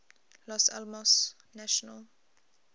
los alamos national